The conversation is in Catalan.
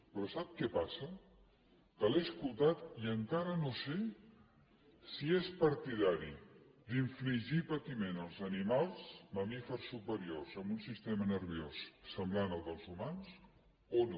però sap què passa que l’he escoltat i encara no sé si és partidari d’infligir patiment als animals mamífers superiors amb un sistema nerviós semblant al dels humans o no